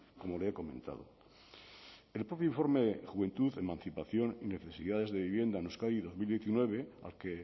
como le he comentado el propio informe juventud emancipación y necesidades de vivienda en euskadi dos mil diecinueve al que